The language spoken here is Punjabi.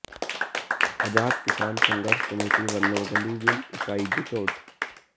ਆਜ਼ਾਦ ਕਿਸਾਨ ਸੰਘਰਸ਼ ਕਮੇਟੀ ਵਲੋਂ ਗੰਡੀਵਿੰਡ ਇਕਾਈ ਦੀ ਚੋਣ